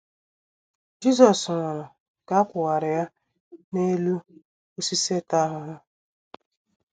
Jisọs nwụrụ ka a kwụwara ya n’elu osisi ịta ahụhụ.